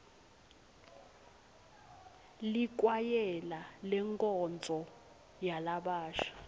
likwayela lenkonzo yalabasha